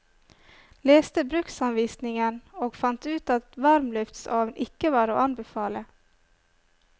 Leste bruksanvisningen og fant ut at varmluftsovn ikke var å anbefale.